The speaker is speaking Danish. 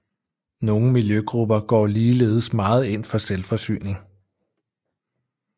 Nogle miljøgrupper går ligeledes meget ind for selvforsyning